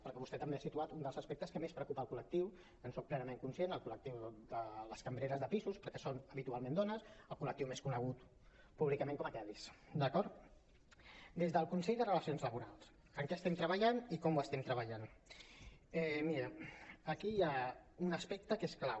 perquè vostè també ha situat un dels aspectes que més preocupa el col·lectiu en soc plenament conscient el col·lectiu de les cambreres de pisos perquè són habitualment dones el col·lectiu més conegut públicament com a kellys d’acord des del consell de relacions laborals en què estem treballant i com ho estem treballant miri aquí hi ha un aspecte que és clau